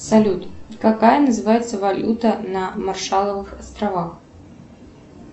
салют какая называется валюта на маршалловых островах